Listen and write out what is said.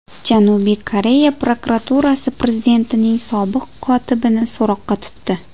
Janubiy Koreya prokuraturasi prezidentning sobiq kotibini so‘roqqa tutdi.